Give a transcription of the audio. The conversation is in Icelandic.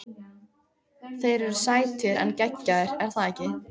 Þeir eru sætir en geggjaðir- er það ekki?